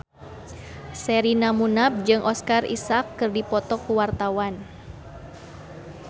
Sherina Munaf jeung Oscar Isaac keur dipoto ku wartawan